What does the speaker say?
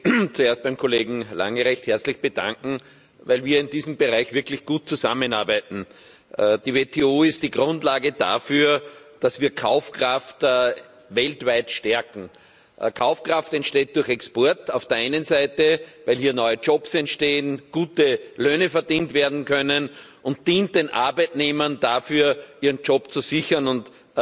Herr Präsident! Ich möchte mich zuerst beim Kollegen Lange recht herzlich bedanken, weil wir in diesem Bereich wirklich gut zusammenarbeiten. Die WTO ist die Grundlage dafür, dass wir Kaufkraft weltweit stärken. Kaufkraft entsteht durch Export auf der einen Seite, weil hier neue Jobs entstehen und gute Löhne verdient werden können, und sie dient den Arbeitnehmern dazu, ihren Job zu sichern und